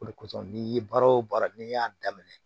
O de kosɔn n'i ye baara o baara n'i y'a daminɛ